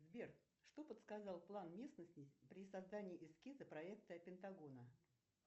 сбер что подсказал план местности при создании эскиза проекта пентагона